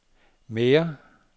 mere